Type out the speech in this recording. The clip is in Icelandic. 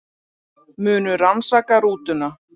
Munu rannsaka rútuna